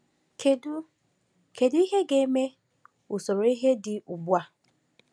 Kedu Kedu ihe ga-eme usoro ihe dị ugbu a?